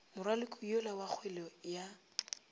moraloki yola wa kgwele ya